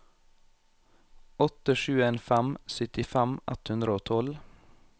åtte sju en fem syttifem ett hundre og tolv